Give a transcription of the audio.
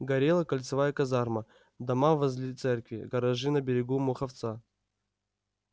горела кольцевая казарма дома возле церкви гаражи на берегу муховца